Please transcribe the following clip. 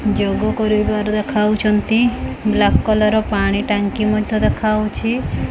ଯୋଗ କରିବାର ଦେଖାଉଛନ୍ତି black colour ର ପାଣି ଟାଙ୍କି ମଧ୍ୟ ଦେଖାଉଛି।